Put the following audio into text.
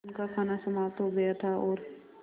उनका खाना समाप्त हो गया था और